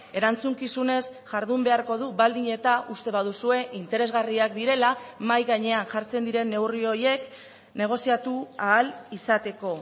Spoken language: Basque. erantzukizunez jardun beharko du baldin eta uste baduzue interesgarriak direla mahai gainean jartzen diren neurri horiek negoziatu ahal izateko